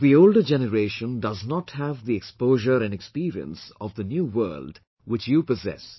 The older generation does not have the exposure and experience of the new world which you possess